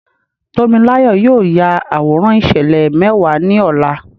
Tómiláyọ̀ yóò ya àwòrán ìṣẹ̀lẹ̀ mẹ́wàá ní ọ̀la.